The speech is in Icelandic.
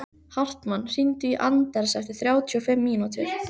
Hartmann, hringdu í Anders eftir þrjátíu og fimm mínútur.